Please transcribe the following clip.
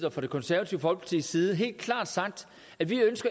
og fra det konservative folkepartis side helt klart sagt at vi